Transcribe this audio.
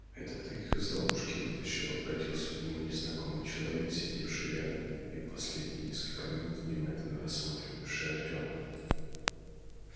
это ты их из ловушки вытащил обратился к нему незнакомый человек сидевший рядом и в последние несколько минут внимательно рассматривавший артёма